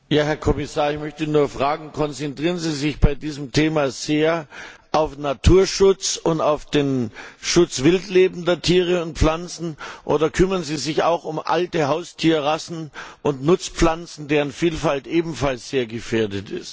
Herr Kommissar, ich möchte nur fragen Konzentrieren Sie sich bei diesem Thema sehr auf Naturschutz und auf den Schutz wildlebender Tiere und Pflanzen, oder kümmern Sie sich auch um alte Haustierrassen und Nutzpflanzen, deren Vielfalt ebenfalls sehr gefährdet ist?